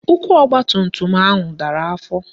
Ụkwụ ọgbatumtum ahụ dara afọ